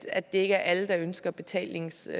at det ikke er alle der ønsker betalingskort